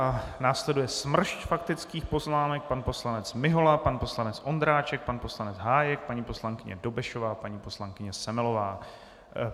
A následuje smršť faktických poznámek: pan poslanec Mihola, pan poslanec Ondráček, pan poslanec Hájek, paní poslankyně Dobešová, paní poslankyně Semelová.